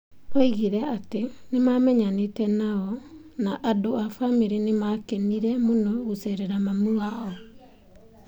Oigire ati nĩmamenyanite nao na andũ a bamĩrĩ yake nĩ maakenire mũno gũceerera mami wao.